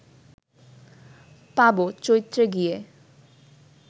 পাব, চৈত্রে গিয়ে